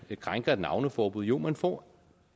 krænker et navneforbud jo man får